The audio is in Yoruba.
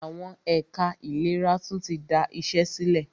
Àwọn ẹ̀ka ìlera tún tí da iṣé sílẹ̀.